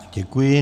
Děkuji.